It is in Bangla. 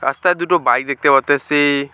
রাস্তায় দুটো বাইক দেখতে পাইতাসি।